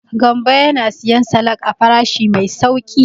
Gambo yana siyan salak a farashi mai sauƙi.